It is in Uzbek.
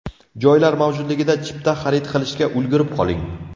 Joylar mavjudligida, chipta xarid qilishga ulgurib qoling!